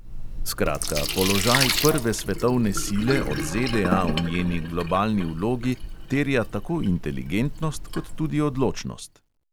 Skratka, položaj prve svetovne sile od ZDA v njeni globalni vlogi terja tako inteligentnost kot tudi odločnost.